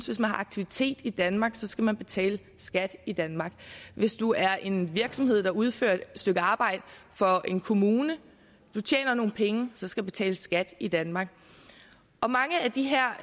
hvis man har aktiviteter i danmark skal man betale skat i danmark hvis du er en virksomhed der udfører et stykke arbejde for en kommune du tjener nogle penge så skal der betales skat i danmark mange af de her